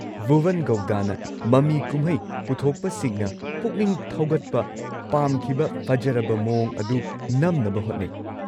ꯚꯨꯕꯟ ꯒꯧꯗꯥꯅ ꯃꯃꯤ ꯀꯨꯝꯍꯩ ꯄꯨꯊꯣꯛꯄꯁꯤꯡꯅ ꯄꯨꯛꯅꯤꯡ ꯊꯧꯒꯠꯄ ꯄꯥꯝꯈꯤꯕ ꯐꯖꯔꯕ ꯃꯑꯣꯡ ꯑꯗꯨ ꯅꯝꯅꯕ ꯍꯣꯠꯅꯩ꯫